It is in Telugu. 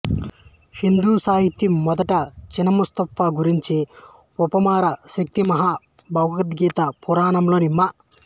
హిందూ సాహిత్యం మొదట చిన్నమాస్తా గురించి ఉపపుర శక్తి మహా భాగవత పురాణంలో మ